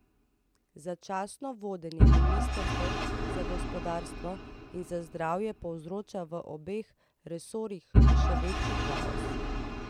Začasno vodenje ministrstev za gospodarstvo in za zdravje povzroča v obeh resorjih še večji kaos.